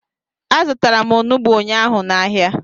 Azụtara m onugbu ụnyaahụ n'ahia